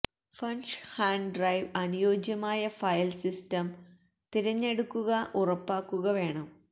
flash hard drive അനുയോജ്യമായ file system തിരഞ്ഞെടുക്കുക ഉറപ്പാക്കുക വേണം